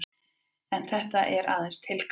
En þetta er aðeins tilgáta.